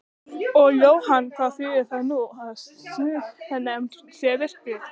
Og Jóhann hvað þýðir það nú að siðanefnd sé virkjuð?